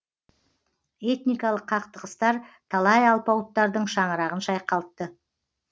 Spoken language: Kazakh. этникалық қақтығыстар талай алпауыттардың шаңырағын шайқалтты